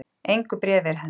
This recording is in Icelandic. Engu bréfi er hent